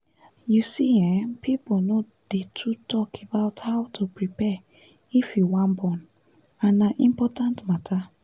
you see[um]people no dey too talk about how to prepare if you wan born and na important matter